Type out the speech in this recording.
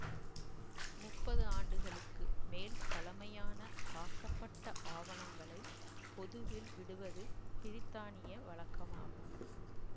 முப்பது ஆண்டுகளுக்கு மேல் பழமையான காக்கப்பட்ட ஆவணங்களை பொதுவில் விடுவது பிரித்தானிய வழக்கமாகும்